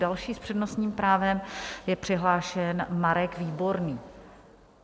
Další s přednostním právem je přihlášen Marek Výborný.